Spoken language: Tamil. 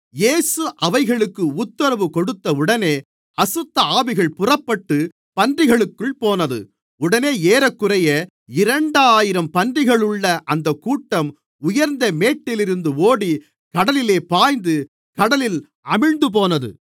இயேசு அவைகளுக்கு உத்தரவு கொடுத்தவுடனே அசுத்தஆவிகள் புறப்பட்டுப் பன்றிகளுக்குள் போனது உடனே ஏறக்குறைய இரண்டாயிரம் பன்றிகளுள்ள அந்தக்கூட்டம் உயர்ந்த மேட்டிலிருந்து ஓடி கடலிலே பாய்ந்து கடலில் அமிழ்ந்துபோனது